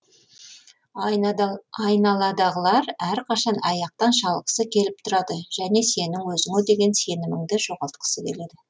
айналадағылар әрқашан аяқтан шалғысы келіп тұрады және сенің өзіңе деген сеніміңді жоғалтқысы келеді